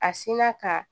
A sinna ka